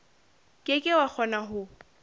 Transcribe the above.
ke ke wa kgona ho